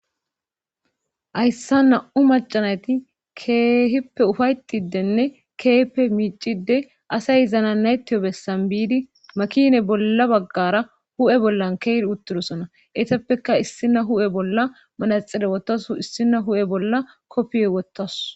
Hayssa na'u macanayti keehippe ufaytidenne keepe miicide asay izana naytiyo bessan biidi makine bolla baggara hu7e bollan keer uttirosona etappeka issina hu7e bolla manaxire wottasu issina hu7e bolla koppiyoy wottasu'.